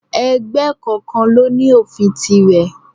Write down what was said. Ẹgbẹ́ kọ̀ọ̀kan ló ní òfin tirè.